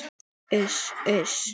Uss, uss.